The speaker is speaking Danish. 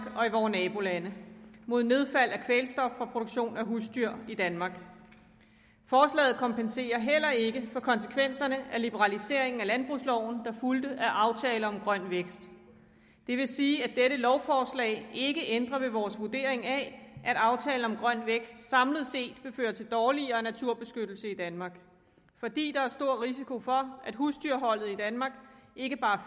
og i vore nabolande og mod nedfald af kvælstof fra produktion af husdyr i danmark forslaget kompenserer heller ikke for konsekvenserne af liberaliseringen af landbrugsloven der fulgte af aftalen grøn vækst det vil sige at dette lovforslag ikke ændrer ved vores vurdering af at aftalen grøn vækst samlet set vil føre til dårligere naturbeskyttelse i danmark fordi der er stor risiko for at husdyrholdet i danmark ikke bare